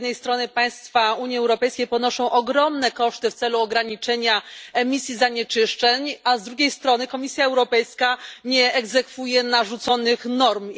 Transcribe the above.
Z jednej strony państwa Unii Europejskiej ponoszą ogromne koszty w celu ograniczenia emisji zanieczyszczeń, a z drugiej strony Komisja Europejska nie egzekwuje narzuconych norm.